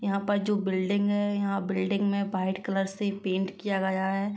यहां पर जो बिल्डिंग है। यहाँ बिल्डिंग में पाइट कलर से पेंट किया गया है।